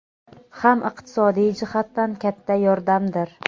ham iqtisodiy jihatdan katta yordamdir.